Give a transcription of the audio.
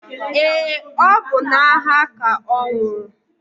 Eé, ọ bụ n'agha ka ọ nwụrụ.